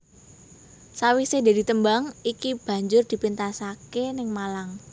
Sawisé dadi tembang iki banjur dipéntasaké ing Malang